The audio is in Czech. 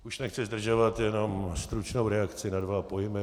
Už nechci zdržovat, jenom stručnou reakci na dva pojmy.